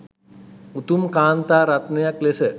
උතුම් කාන්තා රත්නයක් ලෙස